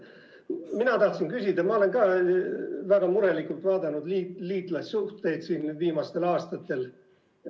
Mina tahtsin küsida, kuna ma olen ka väga murelikult viimastel aastatel liitlassuhteid vaadanud.